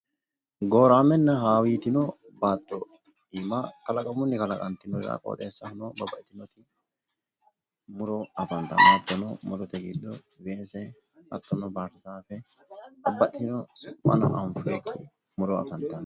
Gooraamenna hawitino baatto iima kalaqamunni kalqantino qioxeessahono muro afantanno. muro afantanno murote giddo weese hattono baarzaafe babbaxxitino su'mano anfoyiikki muro afantanno.